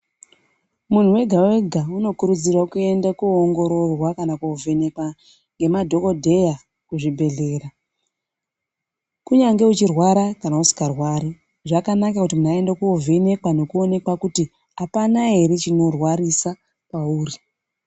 Munhu wega wega unokurudzirwa kuenda koongororwa kana kovhenekwe nemadhokodheya kuzvibhedhlera kunyange uchirwara kana usingarwari zvakanaka kuti munthu aende kovhenekwa nekuonekwa kuti apana ere chinorwarisa pauri.